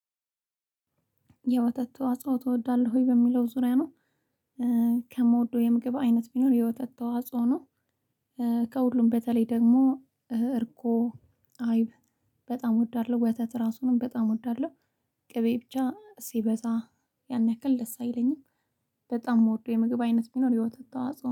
የወተት ተዋጽኦ ትወዳለህ ወይ በሚለው ዙሪያ ነው? ከመወደው የምግብ አይነት ቢኖር የወተት ተዋጽኦ ነው። ከሁሉም በተለይ ደግሞ እርጎ አይብ በጣም እወዳለሁ ወተት እራሱንም በጣም እወዳለሁ። ቅቤ ብቻ ሲበዛ ያን ያክል ደስ አይለኝም። በጣም የምወደው የምግብ አይነት ቢኖር የውተት ተዋጽኦ ነው